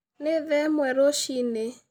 Nĩ thaa ĩmwe rũci-inĩ